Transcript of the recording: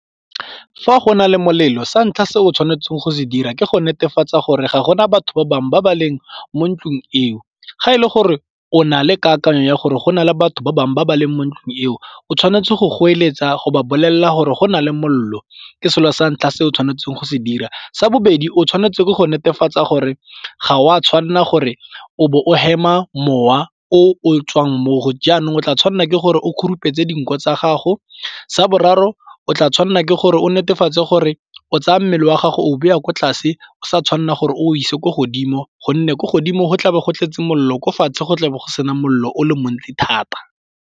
Fa go na le molelo sa ntlha se o tshwanetseng go se dira ke go netefatsa gore ga gona batho ba bangwe ba ba leng mo ntlung eo. Ga e le gore o na le kakanyo ya gore go na le batho ba bangwe ba ba leng mo ntlung eo o tshwanetse go goeletsa go ba bolelela gore go na le molelo ke selo sa ntlha se o tshwanetseng go se dira. Sa bobedi o tshwanetse ke go netefatsa gore ga o a tshwanela gore o be o hema mowa o tswang mo go jaanong o tla tshwanela ke gore o khurumetse dinko tsa gago. Sa boraro o tla tshwanela ke gore o netefatse gore o tsaya mmele wa gago o beya kwa tlase o sa tshwanela gore o ise ko godimo gonne ko godimo go tla bo go tletse mollo o ko fatshe go tlabo go sena mollo o le montsi thata.